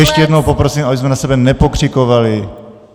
Ještě jednou poprosím, abychom na sebe nepokřikovali.